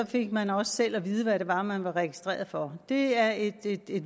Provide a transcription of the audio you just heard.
fik man også selv at vide hvad det var man var registreret for det er et